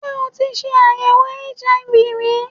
Ṣé o tí ṣe àyèwò HIV ri?